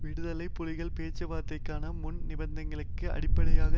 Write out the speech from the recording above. விடுதலை புலிகள் பேச்சுவார்த்தைகளுக்கான முன் நிபந்தனைகளின் அடிப்படையாக